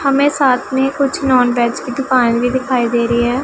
हमें साथ में कुछ नॉनवेज की दुकान भी दिखाई दे रही है।